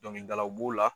Dɔnkilidalaw b'o la